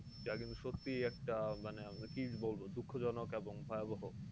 যা কিন্তু সত্যি একটা আপনার কী বলবো? দুঃখজনক এবং ভয়াবহ।